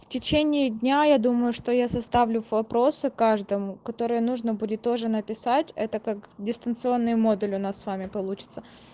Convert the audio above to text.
в течение дня я думаю что я составлю вопросы каждому которые нужно будет тоже написать это как дистанционный модуль у нас с вами получится